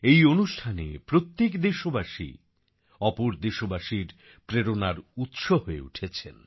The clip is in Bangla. এই অনুষ্ঠানে প্রত্যেক দেশবাসী ওপর দেশবাসীর প্রেরণা উৎস হয়ে উঠেছেন